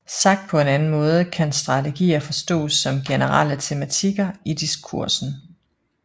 Sagt på en anden måde kan strategier forstås som generelle tematikker i diskursen